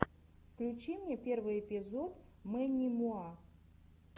включи мне первый эпизод мэнни муа